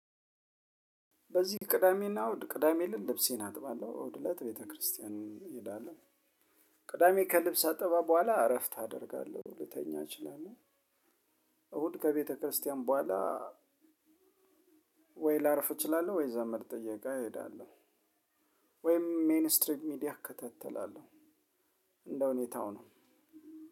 በዚህ ቅዳሜና እሁድ ቅዳሜ ለት ልብሴን አጥባለሁ እሁድ እለት ቤተክርስቲያን እሄዳለሁ። ከልብስ አጠባ በኋላ እረፍት አደርጋለሁ ልተኛ እችላለሁ። እሁድ ከቤተክርስቲያን በኋላ ወይ ላርፍ እችላለሁ ወይ ዘመድ ጥየቃ እሄዳለሁ። ወይም ሚኒስትሪቭ ሚዲያ እከታተላለሁ። እንደ ሁኔታው ነው።